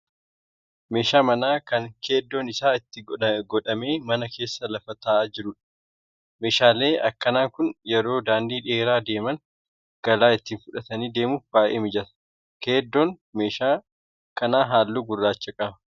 Meeshaa manaa kan keeddoon isaa itti godhamee mana keessa lafa ta'aa jiruudha. Meeshaaleen akkana kun yeroo daandii dheeraa deemaan galaa itti fudhatanii deemuuf baay'ee mijata. Keeddoon meeshaa kanaa halluu gurraacha qaba.